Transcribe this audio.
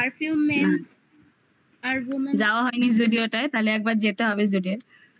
আর যাওয়া হয়নি zudio যদিও তাইলে একবার যেতে হবে zudio এ হুম